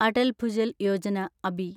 Atal Bhujal Yojana (Abi)